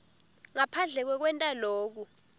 ngaphandle kwekwenta loku